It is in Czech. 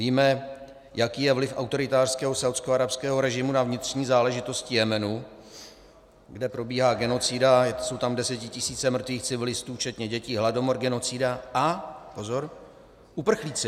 Víme, jaký je vliv autoritářského saúdskoarabského režimu na vnitřní záležitosti Jemenu, kde probíhá genocida, jsou tam desetitisíce mrtvých civilistů včetně dětí, hladomor, genocida a - pozor - uprchlíci.